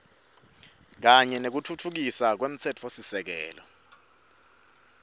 kanye nekutfutfukiswa kwemtsetfosisekelo